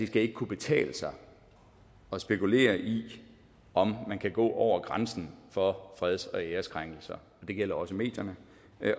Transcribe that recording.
skal kunne betale sig at spekulere i om man kan gå over grænsen for freds og æreskrænkelser og det gælder også medierne